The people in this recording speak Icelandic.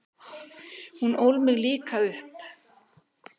Hún ól mig líka upp.